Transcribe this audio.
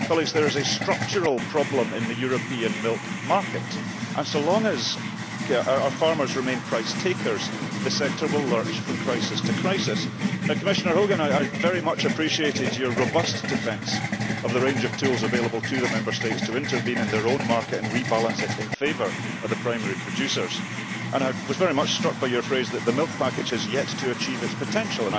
Colleagues, there is a structural problem in the European milk market, and as long as our farmers remain price takers, the sector will lurch from crisis to crisis. Commissioner Hogan, I very much appreciated your robust defence of the range of tools available to the Member States to intervene in their own markets and rebalance them in favour of primary producers, and I was very much struck by your phrase that the milk package has yet to achieve its potential.